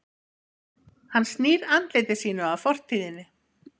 hann snýr andliti sínu að fortíðinni